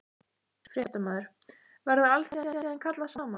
Fréttamaður: Verður alþingi síðan kallað saman?